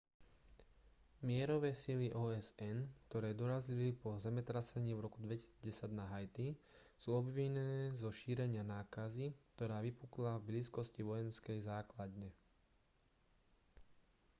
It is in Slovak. mierové sily osn ktoré dorazili po zemetrasení v roku 2010 na haiti sú obvinené zo šírenia nákazy ktorá vypukla v blízkosti vojenskej základne